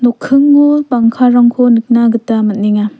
nokkingo bangkarangko nikna gita man·enga.